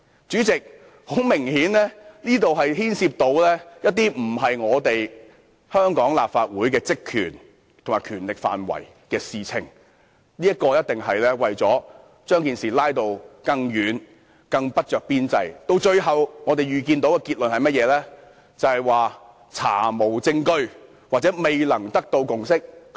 主席，這很明顯牽涉香港立法會的職權範圍以外的事宜。他的建議不着邊際，他最後想得到的結果是否查無證據或未達共識？